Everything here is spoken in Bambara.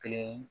Kelen